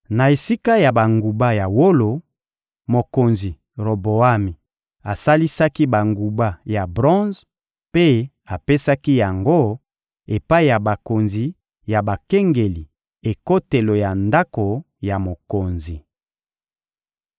Na esika ya banguba ya wolo, mokonzi Roboami asalisaki banguba ya bronze mpe apesaki yango epai ya bakonzi ya bakengeli ekotelo ya ndako ya mokonzi.